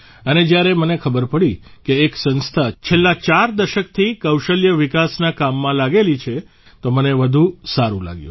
અને જ્યારે મને ખબર પડી કે એક સંસ્થા છેલ્લા ચાર વર્ષ દશકથી કૌશલ્ય વિકાસના કામમાં લાગેલી છે તો મને વધુ સારું લાગ્યું